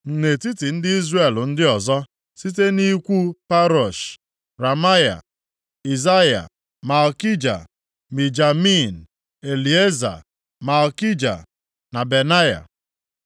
Nʼetiti ndị Izrel ndị ọzọ: Site nʼikwu Parosh: Ramaya, Izaya, Malkija, Mijamin, Elieza, Malkija na Benaya.